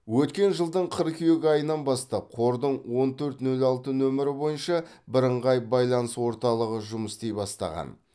өткен жылдың қыркүйек айынан бастап қордың он төрт нөл алты нөмірі бойынша бірыңғай байланыс орталығы жұмыс істей бастаған